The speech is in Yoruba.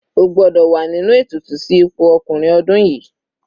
O gbọ́dọ̀ wà nínú ètùtù sí ipò ọkùnrin ọdún yìí.